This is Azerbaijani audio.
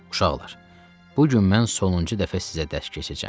Uşaqlar, bu gün mən sonuncu dəfə sizə dərs keçəcəm.